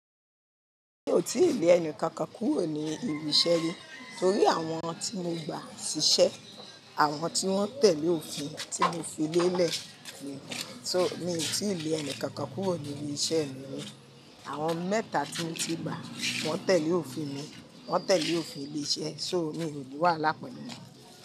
Mo ti lè ẹni kankan kúrò ní ilé-iṣẹ́ yìí torí àwọn tí mo gba ṣíṣẹ́, àwọn tí wọ́n tẹ̀lé òfin tí mo fi lé lẹ̀. So mi ò tí lé ẹni kankan kúrò ní ilé-iṣẹ́ mi ri. Àwọn mẹ́ta tí mo ti gba wọ́n tẹ̀lé òfin mi, wọ́n tẹ̀lé òfin ilé-iṣẹ́. So mi o ni wàhala pelu won.